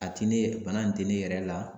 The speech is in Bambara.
A ti ne bana in tɛ ne yɛrɛ la